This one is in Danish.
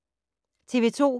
TV 2